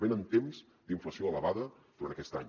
venen temps d’inflació elevada durant aquest any